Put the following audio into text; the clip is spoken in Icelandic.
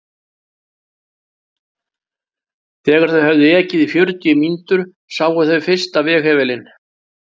Þegar þau höfðu ekið í fjörutíu mínútur sáu þau fyrsta veghefilinn.